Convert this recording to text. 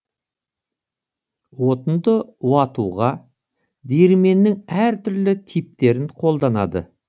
отынды уатуға диірменнің әртүрлі типтерін қолданады